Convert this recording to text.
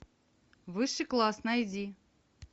высший класс найди